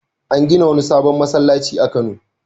An gina wani sabon masallaci a Kano.